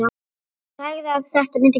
Sagði að þetta mundi gerast.